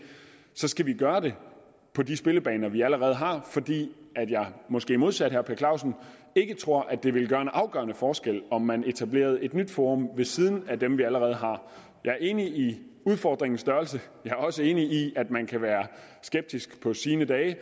så skal vi gøre det på de spillebaner vi allerede har fordi jeg måske modsat herre per clausen ikke tror at det ville gøre en afgørende forskel om man etablerede et nyt forum ved siden af dem vi allerede har jeg er enig i udfordringens størrelse og jeg er også enig i at man kan være skeptisk på sine dage